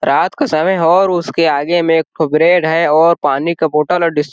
रात का समय हो और उसके आगे में एक ठो ब्रेड है और पानी का बोतल और डिस --